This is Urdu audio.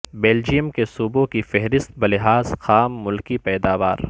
بلجئیم کے صوبوں کی فہرست بلحاظ خام ملکی پیداوار